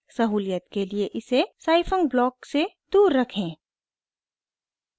सहूलियत के लिए इसे scifunc ब्लॉक से दूर रखें